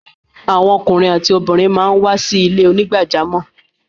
Awọn ọkùnrin àtí obìnrin màá ń wá sí ilẹ̀-onígbàjàmọ́.